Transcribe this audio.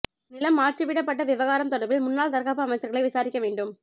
நிலம் மாற்றிவிடப்பட்ட விவகாரம் தொடர்பில் முன்னாள் தற்காப்பு அமைச்சர்களை விசாரிக்க வேண்டும்